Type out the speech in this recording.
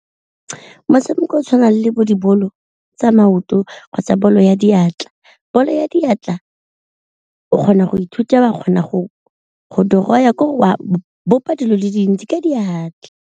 Motshameko o o tshwanang le bo dibolo tsa maoto kgotsa bolo ya diatla, bolo ya diatla o kgona go ithuta ba kgona go draw-a ke gore wa bopa dilo di le dintsi ka diatla.